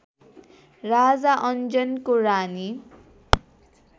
राजा अन्जनको रानी